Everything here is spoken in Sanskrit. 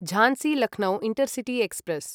Jhansi Lucknow intercity express